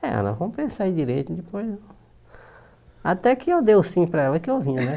É, ela não compensa aí direito, depois... Até que eu dei o sim para ela que eu vinha, né?